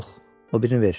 Yox, o birini ver.